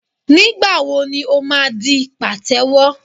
Nígbà wo ni ó máa di pàtẹ́wọ́?